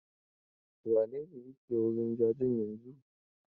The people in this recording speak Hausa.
Wane ne yake wurin jajen yanzun?